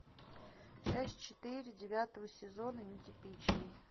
часть четыре девятого сезона нетипичный